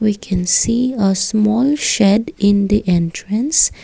we can see a small shed in the entrance.